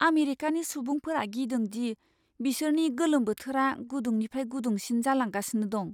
आमेरिकानि सुबुंफोरा गिदों दि बिसोरनि गोलोम बोथोरा गुदुंनिफ्राय गुदुंसिन जालांगासिनो दं।